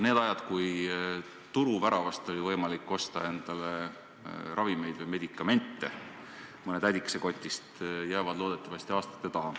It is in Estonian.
Need ajad, kui turuväravast oli võimalik osta endale ravimeid või mõne tädikese kotist medikamente, jäävad loodetavasti aastate taha.